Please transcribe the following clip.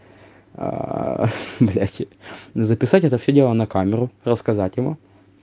блядь записать это всё дело на камеру рассказать ему